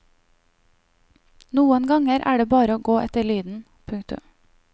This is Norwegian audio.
Noen ganger er det bare å gå etter lyden. punktum